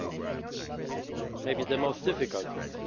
it is maybe the most difficult one.